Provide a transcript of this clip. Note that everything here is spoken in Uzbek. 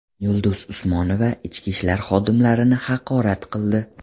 Yulduz Usmonova ichki ishlar xodimlarini haqorat qildi.